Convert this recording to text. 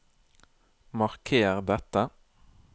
Marker dette